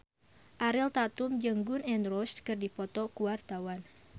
Ariel Tatum jeung Gun N Roses keur dipoto ku wartawan